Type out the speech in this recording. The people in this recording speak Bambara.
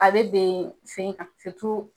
A bɛ ben sen kan